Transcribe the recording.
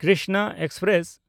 Krishna express